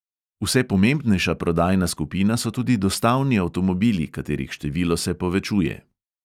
Vse pomembnejša prodajna skupina so tudi dostavni avtomobili, katerih število se povečuje.